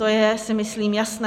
To je, myslím si, jasné.